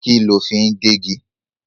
Kí ló fi ń gé igi?